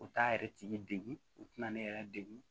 U t'a yɛrɛ tigi degun u tɛna ne yɛrɛ degun